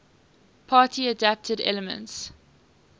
party adapted elements